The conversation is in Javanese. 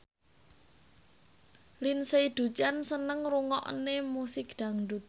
Lindsay Ducan seneng ngrungokne musik dangdut